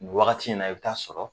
Ni wagati in na i be taa sɔrɔ